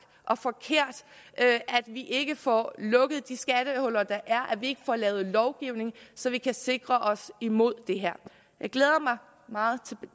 og forkert at vi ikke får lukket de skattehuller der er og at vi ikke får lavet lovgivning så vi kan sikre os imod det her jeg glæder mig meget til